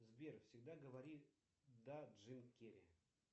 сбер всегда говори да джим керри